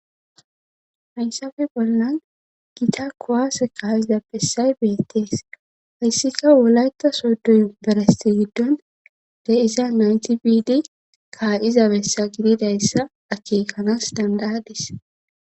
hayssafe bollan gita kuwaase kaa7iza bessay beettees hayssika wolayta soddoy yunberesti giddon de iza nayti bidi kaa7iza bessa gididayssa akeekanas dandayadis